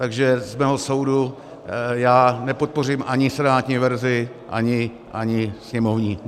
Takže dle mého soudu já nepodpořím ani senátní verzi, ani sněmovní.